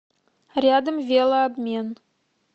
рядом велообмен